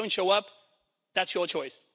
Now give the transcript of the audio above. If you don't show up, that's your choice.